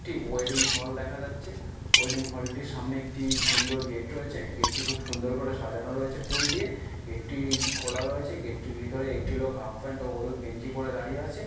টি wedding hall দেখা যাচ্ছে। Wedding hall - টির সামনে একটি সুন্দর গেট রয়েছে। গেট -টি খুব সুন্দর করে সাজানো রয়েছে ফুল দিয়ে। গেট -টি খোলা রয়েছে। গেট -টির ভিতরে একটি লোক হাফ প্যান্ট ও হলুদ গেঞ্জি পড়ে দাঁড়িয়ে আছে ।